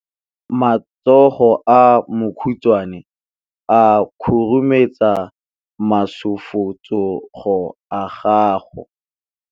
Matsogo a makhutshwane a khurumetsa masufutsogo a gago.